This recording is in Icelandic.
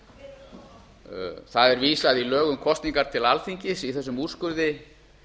kosninguna það er vísað í lög um kosningar til alþingis í þessum úrskurði